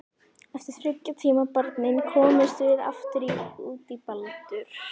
Eftir þriggja tíma barning komumst við aftur út í Baldur.